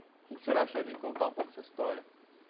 O que que o senhor achou de contar um pouco história?